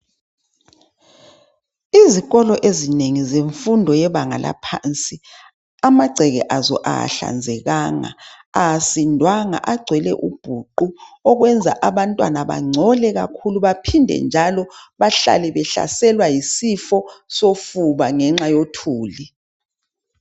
Izikolo ezinengi zemfundo yebanga laphansi amagceke azo awahlanzekanga asindwanga agcwele ubhuqu okwenza abantwana bangcole kakhulu baphinde njalo bahalale behlaselwa yisifo sofuba ngenxa yothuli.